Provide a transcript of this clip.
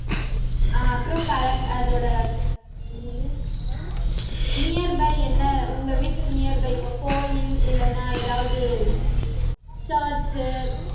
அப்புறம் current அதோட என்னது nearby என்ன உங்க வீட்டுக்கு nearby இப்ப கோயில் இல்லன்னா ஏதாவது church உ